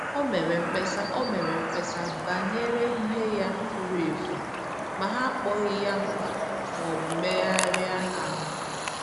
O mere mkpesa O mere mkpesa banyere ihe ya fùrù efù, ma ha akpọghị ya mkpa maọbụ megharịa ahụ